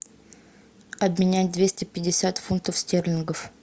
обменять двести пятьдесят фунтов стерлингов